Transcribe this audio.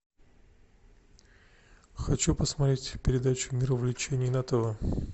хочу посмотреть передачу мир увлечений на тв